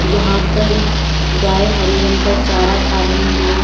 यहां पर गाय हरे रंग का चारा खा रही है।